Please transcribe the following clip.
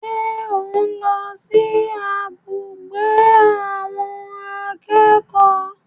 Ṣé ò ń lọ sí abùgbé àwọn akẹ́kọ̀ọ́?